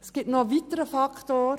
Es gibt einen weiteren Faktor: